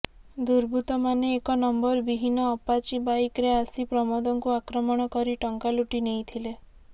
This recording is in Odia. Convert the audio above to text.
ଦୁର୍ବୃତ୍ତମାନେ ଏକ ନମ୍ବର ବିହୀନ ଆପାଚି ବାଇକରେ ଆସି ପ୍ରମୋଦଙ୍କୁ ଆକ୍ରମଣ କରି ଟଙ୍କା ଲୁଟି ନେଇଥିଲେ